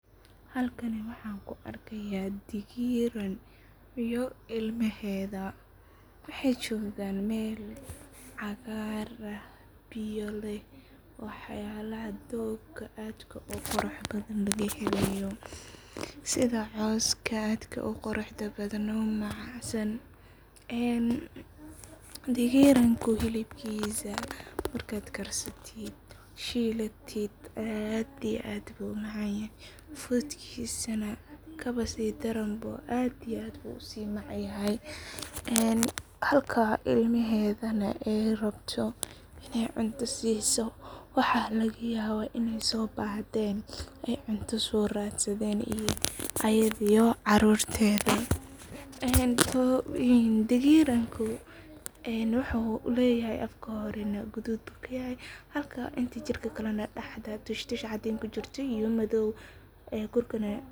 Halkan waxan kuu arkaya dagiran iyo ilmaheda, waxay jogan meel cagar ah, biyo leh waxyalaha doog adkaa uqurax badhan lagahelayo sidhaa coska adka uquraxda badhan oo macansan, dagiranku hilibkisa markad aad karsatit, shilatit aad iyo aad umacanyahay, fudkisa nah kabasidaran aad iyo aad buu usimacyahay, halka ilmedanah aay rabto inay cunto siso, waxa lagayaba inay sobahden ay cunto sooradsaden ayadiyo carurteda, dagiranku wuxuu leyahay afka hore nah gadud buu kayahay halka inta jirka kale daxda tush tush cadin kujirto iyoo madow gurkana.